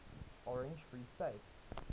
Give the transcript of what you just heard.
orange free state